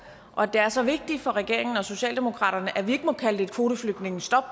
og at det er så vigtigt for regeringen og socialdemokratiet at vi ikke må kalde det et kvoteflygtningestop